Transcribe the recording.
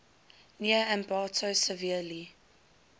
near ambato severely